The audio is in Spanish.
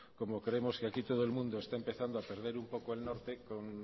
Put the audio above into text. como creemos que aquí todo el mundo está empezando a perder un poco el norte